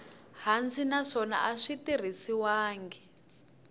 hansi naswona a swi tirhisiwangi